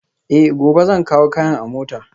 Eh, gobe zan kawo kayan a mota